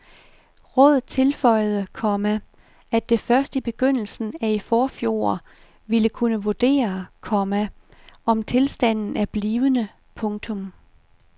Rådet tilføjede, komma at det først i begyndelsen af i forfjor ville kunne vurdere, komma om tilstanden er blivende. punktum